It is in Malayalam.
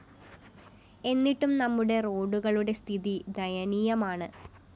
എന്നിട്ടും നമ്മുടെ റോഡുകളുടെ സ്ഥിതി ദയനീയമാണ്